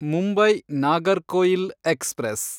Mumbai Nagercoil express